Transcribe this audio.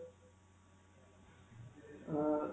ਅਅ